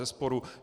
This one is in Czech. Bezesporu.